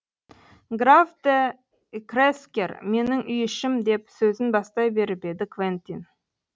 граф де крезкер менің үй ішім деп сөзін бастай беріп еді квентин